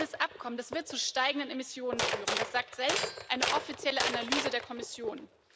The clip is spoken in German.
Dieses Abkommen wird zu steigenden Emissionen führen, das sagt selbst eine offizielle Analyse der Kommission.